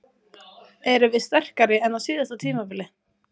Erum við sterkari en á síðasta tímabili?